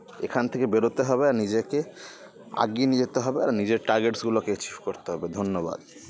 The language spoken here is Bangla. এখান থেকে বেরোতে হবে আর নিজেকে আগিয়ে নিয়ে যেতে হবে আর নিজের targets গুলোকে achieve করতে হবে ধন্যবাদ